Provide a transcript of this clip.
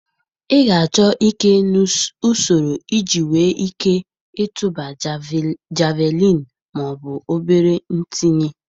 Ị ga-achọ ike na usoro iji nwee ike ịtụba Javelin ma ọ bụ obere itinye